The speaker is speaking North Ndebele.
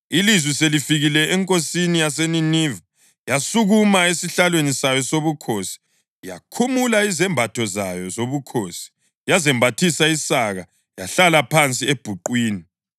Ilizwi selifikile enkosini yaseNiniva, yasukuma esihlalweni sayo sobukhosi, yakhumula izembatho zayo zobukhosi, yazembathisa isaka yahlala phansi ebhuqwini.